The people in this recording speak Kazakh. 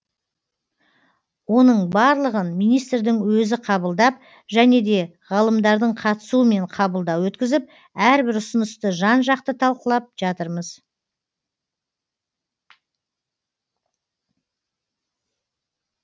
оның барлығын министрдің өзі қабылдап және де ғалымдардың қатысуымен қабылдау өткізіп әрбір ұсынысты жан жақты талқылап жатырмыз